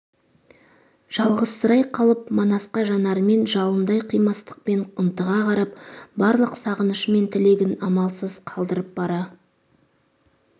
жалғызсырай қалып манасқа жанарымен жалындай қимастықпен ынтыға қарап барлық сағынышы мен тілегін амалсыз қалдырып бара